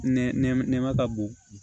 Nɛmɛ nɛma ka bon